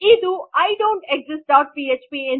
ಇದು I don't exist dot PHP